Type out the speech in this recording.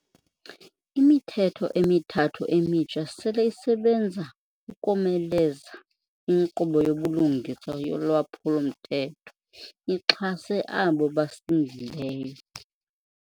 Imithetho emithathu emitsha sele isebenza ukomeleza inkqubo yobulungisa yolwaphulo-mthetho ixhase abo basindileyo.